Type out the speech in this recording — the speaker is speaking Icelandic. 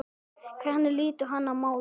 Hvernig lítur hann á málið?